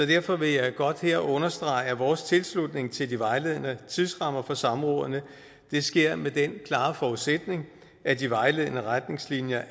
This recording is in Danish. derfor vil jeg godt her understrege at vores tilslutning til de vejledende tidsrammer for samrådene sker med den klare forudsætning at de vejledende retningslinjer